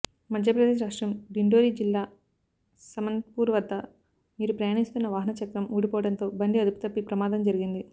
మధ్యప్రదేశ్ రాష్ట్రం డిండోరి జిల్లా సమన్పూర్ వద్ద వీరు ప్రయాణిస్తున్న వాహనం చక్రం ఊడిపోవడంతో బండి అదుపుతప్పి ప్రమాదం జరిగింది